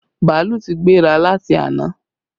Bàálù ti gbéra láti àná